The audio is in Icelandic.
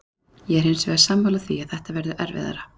Ég er hins vegar sammála því að þetta verður erfiðara.